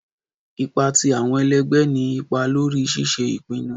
Ipa ti awọn ẹlẹgbẹ ni ipa lori ṣiṣe ipinnu